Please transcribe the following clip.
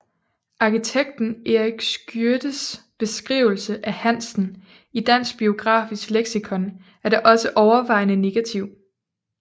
Arkitekten Erik Schiødtes beskrivelse af Hansen i Dansk biografisk Lexikon er da også overvejende negativ